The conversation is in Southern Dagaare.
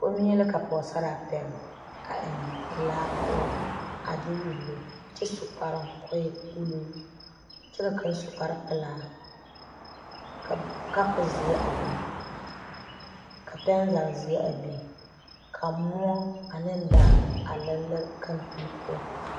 komie la ka pɔge sarraa pegeli a eŋe laa poɔ a de wullo. kyɛ kɔɔ su kparoo kɔɔ e ulluu kyɛ ka kaŋ su kpare pɛlaa ka kapuri zeɛ a biŋ ka pɛn zage zeɛ a biŋ ka moɔ ane daare a leri leri kampili poɔ.